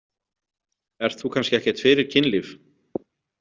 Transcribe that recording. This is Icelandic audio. Ert þú kannski ekkert fyrir kynlíf?